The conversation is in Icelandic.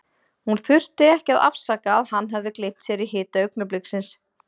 Hann þurfti ekki að afsaka að hann hafði gleymt sér í hita augnabliksins.